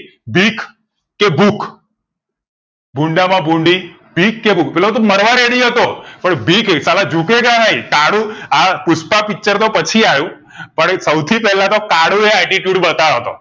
ભીખ કે ભુખ ભૂંડા માં ભૂંડી ભીખ કે ભુખ પેલો તો મારવા ready પણ ભીખે સાલા જુ કેગા નહિ કાળુ આ પુષ્પા picture તો પછી આવ્યું પણ સૌથી પહેલાં તો કાળું એયે attitude બાતાયો તો